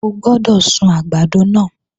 O gbọ́dọ̀ sun àgbàdo náà!